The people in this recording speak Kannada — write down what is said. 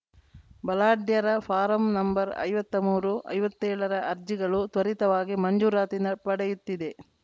ಬಲಾಢ್ಯರ ಫಾರಂ ನಂಬರ್ಐವತ್ತ ಮೂರು ಐವತ್ತೇಳರ ಅರ್ಜಿಗಳು ತ್ವರಿತವಾಗಿ ಮಂಜೂರಾತಿ ನ ಪಡೆಯುತ್ತಿದೆ